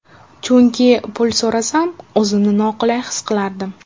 Chunki pul so‘rasam o‘zimni noqulay his qilardim.